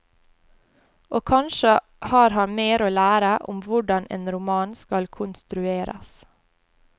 Og kanskje har han mer å lære om hvordan en roman skal konstrueres.